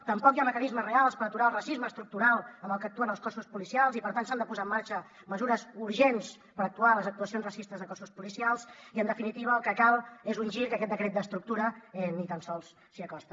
tampoc hi ha mecanismes reals per aturar el racisme estructural amb el que actuen els cossos policials i per tant s’han de posar en marxa mesures urgents per actuar en les actuacions racistes de cossos policials i en definitiva el que cal és un gir que aquest decret d’estructura ni tan sols s’hi acosta